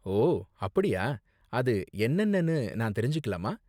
ஓ அப்படியா, அது என்னென்னனு நான் தெரிஞ்சுக்கலாமா?